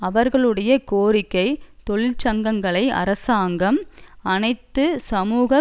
அவர்களுடைய கோரிக்கை தொழிற்சங்கங்களை அரசாங்கம் அனைத்து சமூக